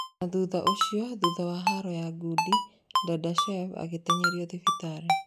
Na thutha ũcio thutha wa haro ya ngundi Dadashev agĩteng'erio thibitarĩ